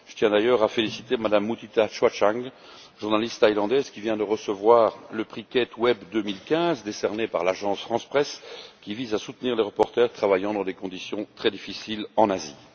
Je tiens d'ailleurs à féliciter Mme Mutita Chuachang, journaliste thaïlandaise, qui vient de recevoir le prix Kate Webb 2015, décerné par l'agence France Presse, qui vise à soutenir les journalistes travaillant dans des conditions très difficiles en Asie.